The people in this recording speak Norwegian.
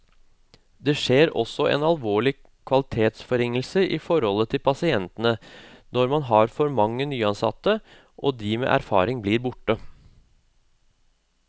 Det skjer også en alvorlig kvalitetsforringelse i forholdet til pasientene når man har for mange nyansatte og de med erfaring blir borte.